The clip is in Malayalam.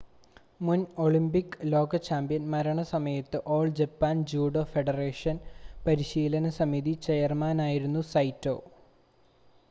മുൻ ഒളിമ്പിക് ലോക ചാമ്പ്യൻ മരണസമയത്ത് ഓൾ ജപ്പാൻ ജൂഡോ ഫെഡറേഷൻ പരിശീലന സമിതി ചെയർമാനായിരുന്നു സൈറ്റോ